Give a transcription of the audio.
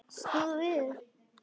Snúið við!